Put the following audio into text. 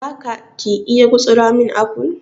za ka/ ki iya gutsura min apple?